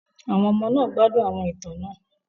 Àwọn ọmọ náà gbádùn àwọn ìtàn náà.